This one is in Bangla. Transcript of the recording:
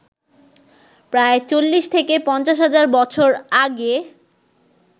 প্রায় ৪০ থেকে ৫০ হাজার বছর আগে